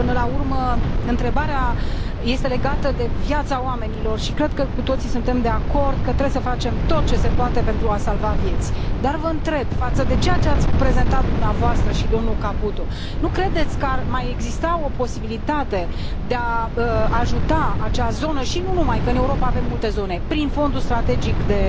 Până la urmă, întrebarea este legată de viața oamenilor și cred că cu toții suntem de acord că trebuie să facem tot ce se poate pentru a salva vieți. Dar vă întreb față de ceea ce ați prezentat dumneavoastră și domnul Caputo, nu credeți că ar mai exista o posibilitate de a ajuta acea zonă și nu numai, că în Europa avem multe zone, prin Fondul strategic de